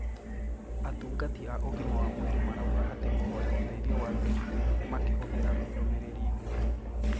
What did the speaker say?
Atungati a ũgima wa mwĩrĩ marauga atĩ kũhoya ũteithio wa Zipline makĩhũthĩra ndũmĩrĩri nguhĩ